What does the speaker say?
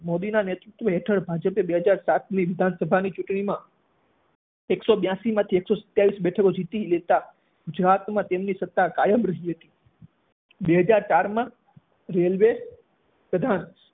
મોદીના નેતૃત્વ હેઠળ ભાજપે બે હાજર સાતની વિધાનસભાની ચૂંટણીમા એક સો બ્યાશીમાંથી એક સો સત્યાવીશ બેઠકો જીતી લેતા ગુજરાતમાં તેમની સત્તા કાયમ રહી હતી બે હાજર ચારમાં રેલ્વે પ્રધાન